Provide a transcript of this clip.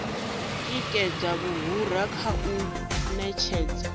tikedza muhura kha u ṅetshedza